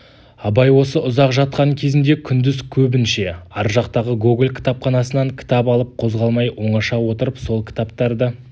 абай осы ұзақ жатқан кезінде күндіз көбінше ар жақтағы гоголь кітапханасынан кітап алып қозғалмай оңаша отырып сол кітаптарды